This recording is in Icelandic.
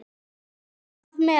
Hvað með.